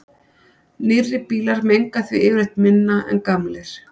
nýrri bílar menga því yfirleitt minna en gamlir